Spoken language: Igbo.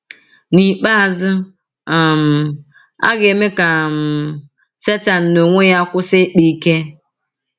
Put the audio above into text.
N’ikpeazụ, um a ga - eme ka um Setan n’onwe ya kwụsị ịkpa ike.